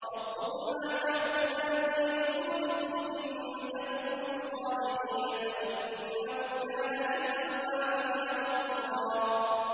رَّبُّكُمْ أَعْلَمُ بِمَا فِي نُفُوسِكُمْ ۚ إِن تَكُونُوا صَالِحِينَ فَإِنَّهُ كَانَ لِلْأَوَّابِينَ غَفُورًا